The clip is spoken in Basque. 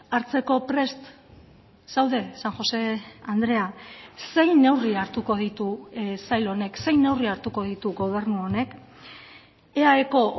hartzeko prest zaude san josé andrea zein neurri hartuko ditu sail honek zein neurri hartuko ditu gobernu honek eaeko